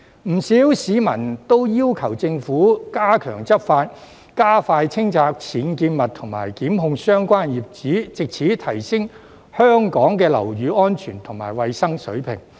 不少市民都要求政府加強執法，加快清拆僭建物和檢控相關業主，藉此提升香港的樓宇安全及衞生水平。